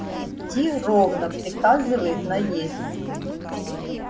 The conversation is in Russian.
идти ровно приказывает наездник